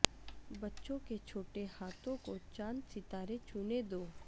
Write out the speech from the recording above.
بچوں کے چھوٹے ہاتھوں کو چاند ستارے چھونے دو